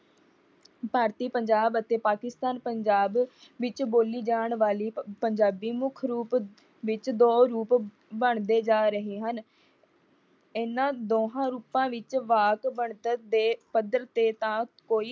ਭਾਰਤੀ ਪੰਜਾਬ ਅਤੇ ਪਾਕਿਸਤਾਨ ਪੰਜਾਬ ਵਿੱਚ ਬੋਲੀ ਜਾਣੀ ਵਾਲੀ ਪੰਜਾਬੀ ਮੁੱਖ ਰੂਪ ਵਿੱਚ ਦੋ ਰੂਪ ਬਣਦੇ ਜਾ ਰਹੇ ਹਨ। ਇਹਨਾਂ ਦੋਹਾਂ ਰੂਪ ਵਿੱਚ ਵਾਕ ਬਣਤਰ ਦੇ ਪੱਧਰ